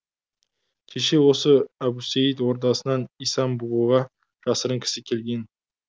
кеше осы әбусейіт ордасынан исан бұғыға жасырын кісі келген